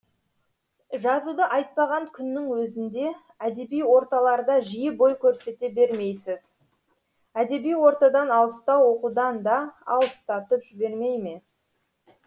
жазуды айтпаған күннің өзінде әдеби орталарда жиі бой көрсете бермейсіз әдеби ортадан алыстау оқудан да алыстатып жібермей ме